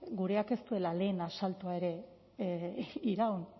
gureak ez duela lehen asaltoa ere iraun